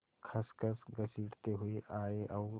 खसखस घसीटते हुए आए और